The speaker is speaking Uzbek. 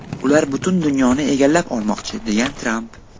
Ular butun dunyoni egallab olmoqchi”, degan Tramp.